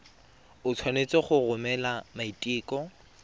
o tshwanetse go romela maiteko